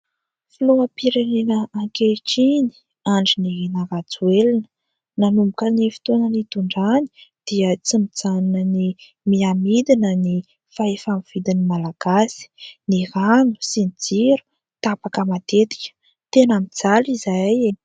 Filoham-pirenena ankehitriny, Andry Nirina Rajoelina. Nanomboka ny fotoana nitondrany dia tsy mijanona ny miha midina ny fahefa-mividin'ny Malagasy. Ny rano sy ny jiro tapaka matetika, tena mijaly izahay.